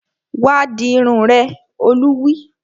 Wá dirun rẹ! Olú wí